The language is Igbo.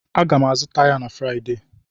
Aga m azụta ya na Fraịdee.